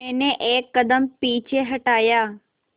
मैंने एक कदम पीछे हटाया